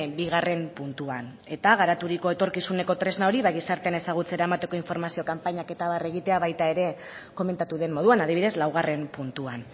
bigarren puntuan eta garaturiko etorkizuneko tresna hori ba gizartean ezagutzera emateko informazio kanpainak eta abar egitea baita ere komentatu den moduan adibidez laugarren puntuan